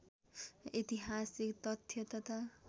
ऐतिहासिक तथ्य तथा